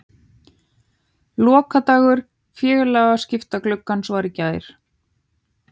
Lokadagur félagaskiptagluggans var í gær.